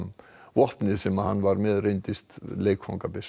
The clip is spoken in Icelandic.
vopnið sem hann var með reyndist